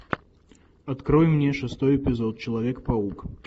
открой мне шестой эпизод человек паук